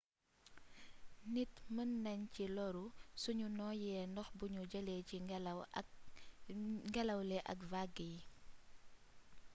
nit mën nañ ci lóru suñu nooyee ndox buñu jëlee ci ngélaw li ak vague yi